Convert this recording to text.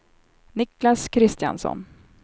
Niclas Kristiansson